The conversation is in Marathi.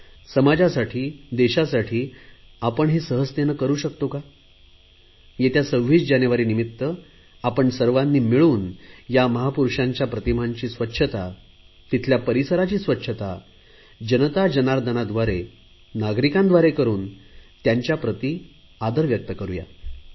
समाजासाठी देशासाठी आपण हे सहजतेने करु शकतो का येत्या 26 जानेवारीनिमित्त आपण सर्वांनी मिळून या महापुरुषांच्या प्रतिमांची स्वच्छता तिथल्या परिसराची स्वच्छता जनता जर्नादनाद्वारे नागरिकांद्वारे करुन त्यांच्या प्रति आदर व्यक्त करु शकतो